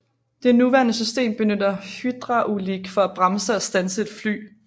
Det nuværende system benytter hydraulik for at bremse og standse et fly